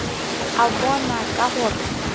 a bona o ka re